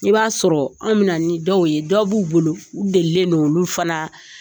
I b'a sɔrɔ anw bɛ na ni dɔw ye dɔ b'u bolo u delilen do olu fana